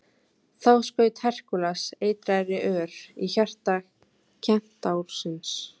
þá skaut herkúles eitraðri ör í hjarta kentársins